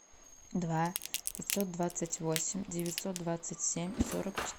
два пятьсот двадцать восемь девятьсот двадцать семь сорок